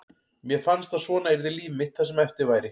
Mér fannst að svona yrði líf mitt það sem eftir væri.